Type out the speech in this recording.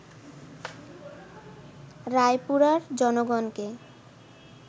রায়পুরার জনগণকে